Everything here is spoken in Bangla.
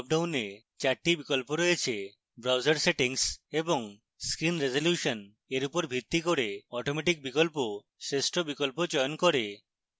dropdown 4 the বিকল্প রয়েছে